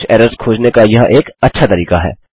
कुछ एरर्स खोजने का यह एक अच्छा तरीका है